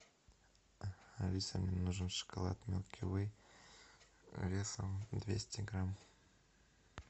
алиса мне нужен шоколад милки вей весом двести грамм